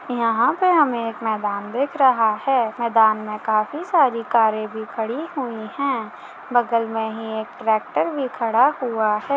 यँहा पे हमें एक मैदान दिख रहा है। मैदान में काफी सारी कारे भी खड़ी हुई है। बगल में ही एक ट्रैक्टर भी खड़ा हुआ है।